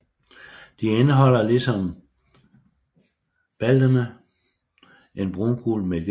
De indeholder ligesom baldene en brungul mælkesaft